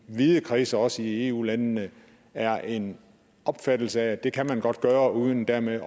vide kredse og også i eu landene er en opfattelse af at det kan man godt gøre uden dermed